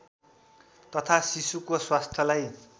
तथा शिशुको स्वास्थ्यलाई